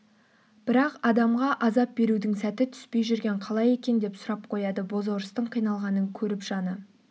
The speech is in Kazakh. бірақ адамға азап берудің сәті түспей жүрген қалай екен деп сұрап қояды бозорыстың қиналғанын көріп жаны